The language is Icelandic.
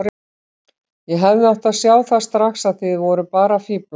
Ég hefði átt að sjá það strax að þið voruð bara að fíflast.